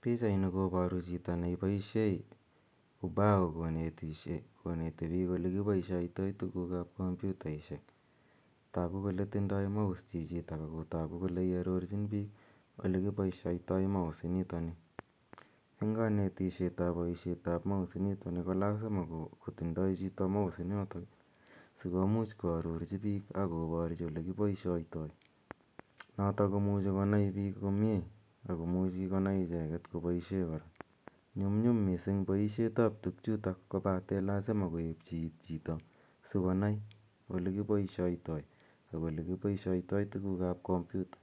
Pichainu koparu chito nepaishe ubao konetishe koneti piik ole kipaishaitai tuguuk ap kompyutaishek. Tagu kole tindai mouse chichitok ako tagu kole iarorchin piik ole kipaishaitai mouse initani. Eng' kanetishet ap poishet ap mouse initani ko lasima kotindai chito mouse initok, komuch koarorchi piik akoporchi ole kipaishaitai notok komuchi konai piik komye ako muchi konai icheget kopaishe kora. Nyumnyum missing' poishetap tugchuutok kopate lasima koepchi iit chito sikonai ole kipaishaitai tuguuk ap kompyuta